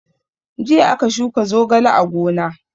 Jiya aka shuka zogale a gona.